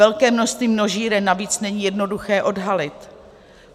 Velké množství množíren navíc není jednoduché odhalit.